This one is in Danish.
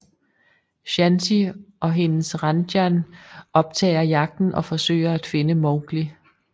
Shanti og hendes Ranjan optager jagten og forsøger at finde Mowgli